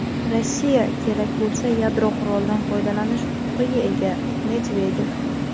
Rossiya kerak bo‘lsa yadro qurolidan foydalanish huquqiga ega – Medvedev.